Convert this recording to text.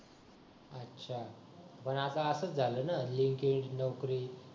अच्छा मग आता आसच झाल ना लगेच नोकरी